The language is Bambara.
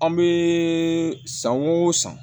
An bɛ san o san